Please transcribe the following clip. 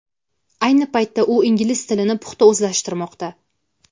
Ayni paytda u ingliz tilini puxta o‘zlashtirmoqda.